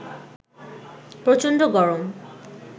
প্রচন্ড গরম